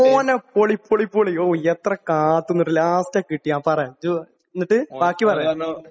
മോനെ! പൊളി ! പൊളി ! പൊളി. ഹൊ എത്ര കാത്ത് നിന്നിട്ട്...ലാസ്റ്റാ കിട്ടിയേ. ങാ, പറ..ജ്ജ്ജ് ...എന്നിട്ട് ബാക്കി പറ